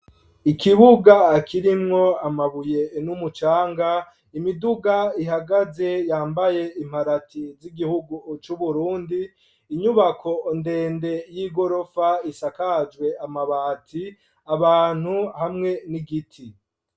Ikibuga akirimwo amabuye n'umucanga imiduga ihagaze yambaye imparati z'igihugu c'uburundi inyubako ndende y'i gorofa isakajwe amabati abantu hamwe n'igiti.